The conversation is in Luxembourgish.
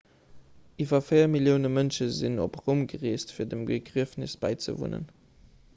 iwwer 4 millioune mënsche sinn op roum gereest fir dem begriefnes bäizewunnen